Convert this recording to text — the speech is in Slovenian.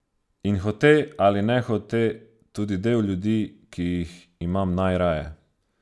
In hote ali nehote tudi del ljudi, ki jih imam najraje.